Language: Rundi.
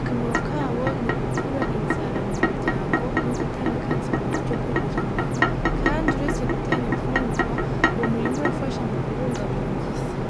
akamuro kabo ni ugukura inzara mu muryango no gutangakazi mu bujo bw'uburimyi, kandi uretse gutanga impfungurwa wo murimo urafasha mu kubunga bungisi.